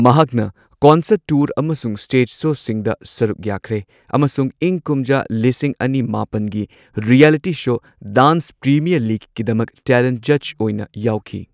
ꯃꯍꯥꯛꯅ concert tour ꯑꯃꯁꯨꯡ stage ꯁꯣꯁꯤꯡꯗ ꯁꯔꯨꯛ ꯌꯥꯈ꯭ꯔꯦ, ꯑꯃꯁꯨꯡ ꯏꯪ ꯀꯨꯝꯖꯥ ꯂꯤꯁꯤꯡ ꯑꯅꯤ ꯃꯥꯄꯟꯒꯤ ꯔꯤꯌꯦꯂꯤꯇꯤ ꯁꯣ ꯗꯥꯟꯁ ꯄ꯭ꯔꯤꯃꯤꯌꯔ ꯂꯤꯒꯀꯤꯗꯃꯛ ꯇꯦꯂꯦꯟꯠ ꯖꯖ ꯑꯣꯏꯅ ꯌꯥꯎꯈꯤ꯫